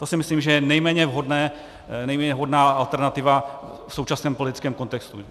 To si myslím, že je nejméně vhodné, nejméně vhodná alternativa v současném politickém kontextu.